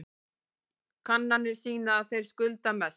Kannanir sýna að þeir skulda mest